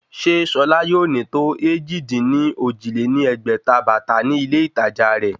Sé Ṣọlá yóò ní tó èjì-dín-ní-ojì lé ní ẹgbẹ́ta bàtà ní ilé ìtàjà rẹ̀?